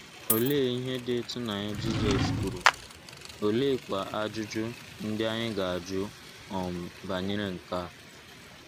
Olee ihe dị ịtụnanya Jizọs kwuru, oleekwa ajụjụ ndị anyị ga - ajụ um banyere nke a?